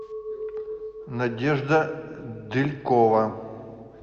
надежда делькова